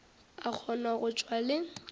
a kgone go tšwa le